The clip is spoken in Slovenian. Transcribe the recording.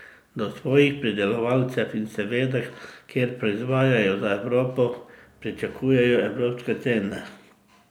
Do svojih pridelovalcev in seveda, ker proizvajajo za Evropo, pričakujejo evropske cene.